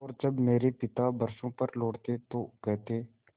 और जब मेरे पिता बरसों पर लौटते तो कहते